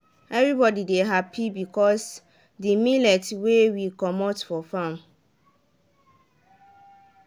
everybody dey happy because de millet wey we comot for farm